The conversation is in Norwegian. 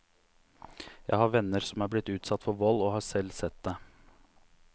Jeg har venner som er blitt utsatt for vold, og har selv sett det.